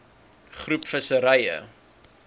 groep visserye